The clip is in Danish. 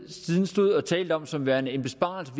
siden stod og talte om som værende en besparelse